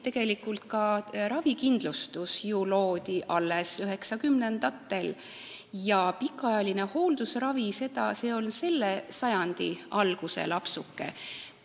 Tegelikult loodi ka ravikindlustus alles üheksakümnendatel ja pikaajaline hooldusravi on selle sajandi alguse lapsuke.